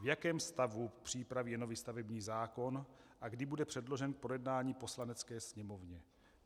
V jakém stavu přípravy je nový stavební zákon a kdy bude předložen k projednání Poslanecké sněmovně?